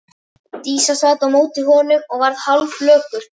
Drífa sat á móti honum og varð hálfflökurt.